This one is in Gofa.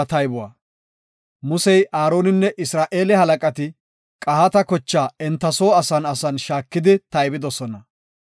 Musey, Aaroninne Isra7eele halaqati Qahaata kocha enta soo asan asan shaakidi taybidosona.